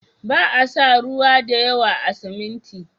Ba a sa ruwa da yawa a siminti.